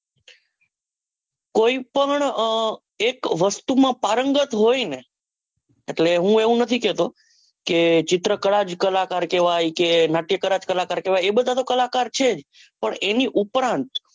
કોઈ પણ એક વસ્તુમાં પારંગત હોયને એટલે હું એવું નથી કહતો ચિત્રકળા જ કલાકાર કહવાય કે નાટ્યકલા જ કલાકાર કહવાય એ બધાં તો કલાકાર છે જ પણ એની ઉપરાંત